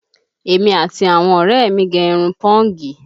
Èmi àti àwọn ọ̀rẹ́ ẹ̀ mi gẹ̀ irun pọ́ǹgì